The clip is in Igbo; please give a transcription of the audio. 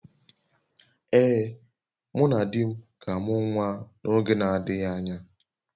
Ee, mụ na di m ga-amụ nwa n’oge na-adịghị anya